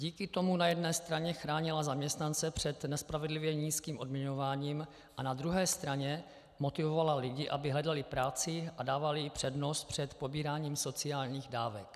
Díky tomu na jedné straně chránila zaměstnance před nespravedlivě nízkým odměňováním a na druhé straně motivovala lidi, aby hledali práci a dávali jí přednost před pobíráním sociálních dávek.